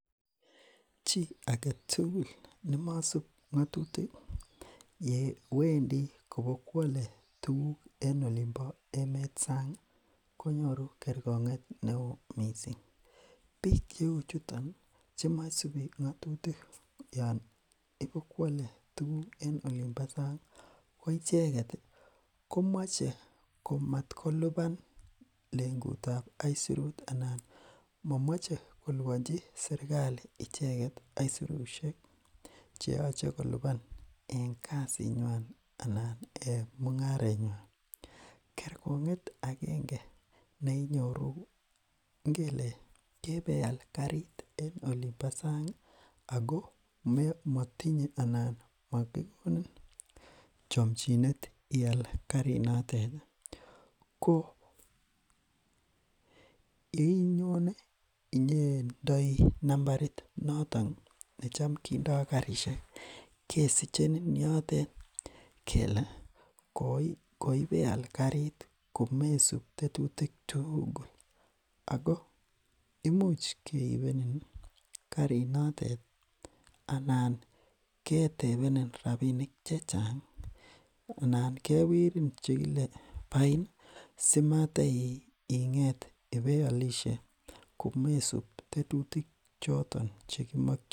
chi agetugul nemosup ngotutik yewendi kobo kwole tuguk en olimpo emet sangi konyoru kerkonget neoo mising biik cheu chutoni che mosupii ngotutik yoon ipokwole tuguk en olimpo sangi koicheket komoche komatkolipan lengutab aisurut anan momoche koliponchi serkali icheket aisurushek cheyoche kolipan en kasinywan anan en mungarenywan kerkonget akenge neenyoru ngele kebeial garit en olimpo sangi ako motinye anan mokikonin chomchinet ial garinotet ko inyone ineyndoi nambarit noton necham kindo garishek kesichenin yotet kele koibeal garit komesup tetutik tugul ako imuch keibenin garinotet anan ketebenin rapinik chechangi anan kewerin chekile bain simateinget ibeiolishe komesup tetutik choton chekimokyin